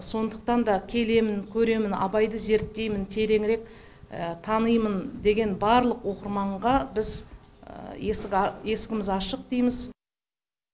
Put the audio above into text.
сондықтан да келемін көремін абайды зерттеймін тереңірек танимын деген барлық оқырманға біз есігіміз ашық дейміз